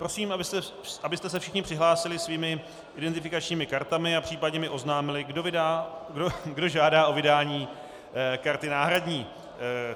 Prosím, abyste se všichni přihlásili svými identifikačními kartami a případně mi oznámili, kdo žádá o vydání karty náhradní.